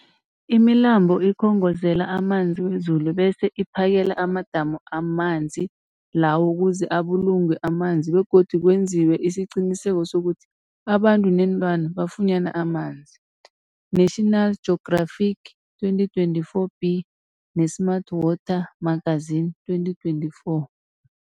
Imilambo ikhongozela amanzi wezulu bese iphakele amadamu amanzi lawo ukuze abulungwe amanzi begodu kwenziwe isiqiniseko sokuthi abantu neenlwana bafunyana amanzi, National Geographic 2024b, ne-Smart Water Magazine 2024.